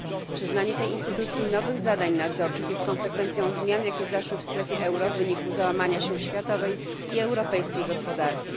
Przyznanie tej instytucji nowych zadań nadzorczych jest konsekwencją zmian, jakie zaszły w strefie euro w wyniku załamania się światowej i europejskiej gospodarki.